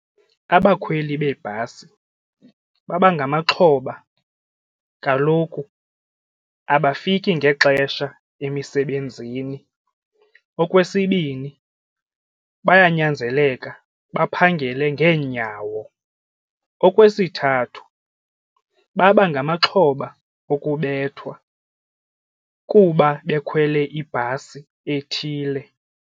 Abakhweli beebhasi babangamaxhoba kaloku abafiki ngexesha emisebenzini. Okwesibini, bayanyanzeleka baphangele ngeenyawo. Okwesithathu, baba ngamaxhoba okubethwa kuba bekhwele ibhasi ethile.